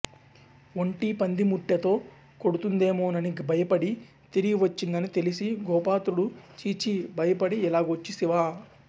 ఒంటి పంది ముట్టెతో కొడుతుందేమోనని భయపడి తిరిగివచ్చిందని తెలిసి గోపాత్రుడు చీచీ బయపడి ఇలాగొచ్చీసీవ